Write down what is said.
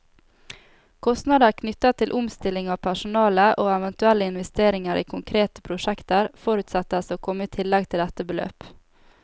Kostnader knyttet til omstilling av personale, og eventuelle investeringer i konkrete prosjekter, forutsettes å komme i tillegg til dette beløp.